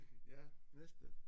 Ja næste